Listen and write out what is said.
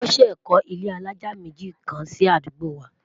wón sé kò ilé alájá méjì kàn sí àdúgbò wa